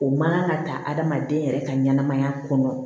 O man kan ka ta adamaden yɛrɛ ka ɲɛnɛmaya kɔnɔ